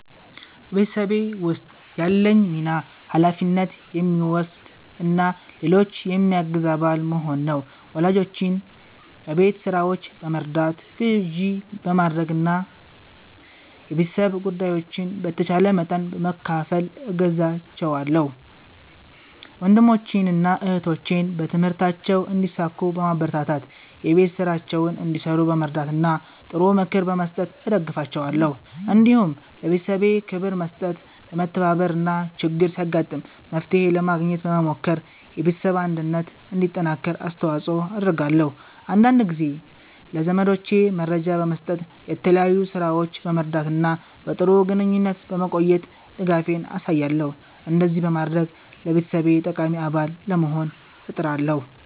በቤተሰቤ ውስጥ ያለኝ ሚና ኃላፊነት የሚወስድ እና ሌሎችን የሚያግዝ አባል መሆን ነው። ወላጆቼን በቤት ሥራዎች በመርዳት፣ ግዢ በማድረግ እና የቤተሰብ ጉዳዮችን በተቻለ መጠን በመካፈል እገዛቸዋለሁ። ወንድሞቼንና እህቶቼን በትምህርታቸው እንዲሳኩ በማበረታታት፣ የቤት ሥራቸውን እንዲሠሩ በመርዳት እና ጥሩ ምክር በመስጠት እደግፋቸዋለሁ። እንዲሁም ለቤተሰቤ ክብር በመስጠት፣ በመተባበር እና ችግር ሲያጋጥም መፍትሄ ለማግኘት በመሞከር የቤተሰብ አንድነት እንዲጠናከር አስተዋጽኦ አደርጋለሁ። አንዳንድ ጊዜም ለዘመዶቼ መረጃ በመስጠት፣ በተለያዩ ሥራዎች በመርዳት እና በጥሩ ግንኙነት በመቆየት ድጋፌን አሳያለሁ። እንደዚህ በማድረግ ለቤተሰቤ ጠቃሚ አባል ለመሆን እጥራለሁ።"